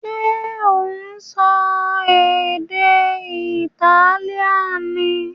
Ṣé ò ń sọ èdè Italian ni?